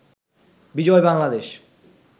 Bijoy Bangladesh